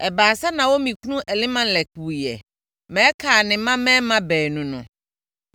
Ɛbaa sɛ Naomi kunu Elimelek wuiɛ ma ɛkaa ne mmammarima baanu no.